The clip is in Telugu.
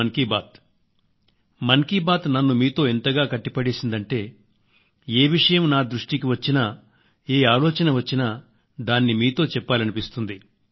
మన్ కీ బాత్ కార్యక్రమం నన్ను మీతో ఎంతగా కట్టిపడేసిందంటేఏవిషయం నా దృష్టికి వచ్చినా ఏ ఆలోచన వచ్చినా దాన్ని మీతో చెప్పాలనిపిస్తుంది